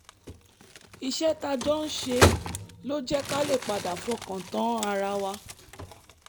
iṣẹ́ tá a jọ ń ṣe ló jẹ́ ká lè padà fọkàn tán ara wa